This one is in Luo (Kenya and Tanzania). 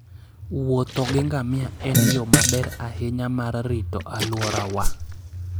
Wuotho gi ngamia en yo maber ahinya mar rito alworawa.